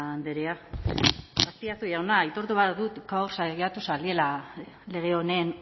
andrea azpiazu jauna aitortu behar dut gaur saiatu zarela lege honen